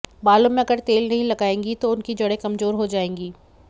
बालों में अगर तेल नहीं लगाएंगी तो उनकी जड़ें कमजोर हो जाएंगी